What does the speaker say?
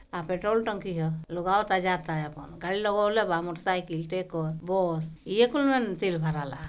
यहा पेट्रोल टंकी है लोग आवता जावता है यहाँ गाड़ी लगावला बा मोटेरसाइकल टेकर बस --